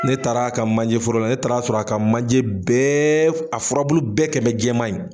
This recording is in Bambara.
Ne taara a ka manjɛforo la ne taara sɔrɔ a ka manjɛ bɛɛ a furabulu bɛɛ kɛ n bɛ jɛman ye